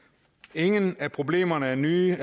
ingen af problemerne er nye